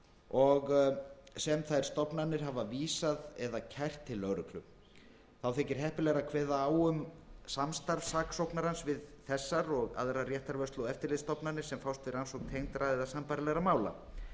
og sem þær stofnanir hafa vísað eða kært til lögreglu þá þykir heppilegra að kveða á um samstarf saksóknarans við þessar og aðrar réttarvörslu og eftirlitsstofnanir sem fást við rannsókn tengdra eða sambærilegra mála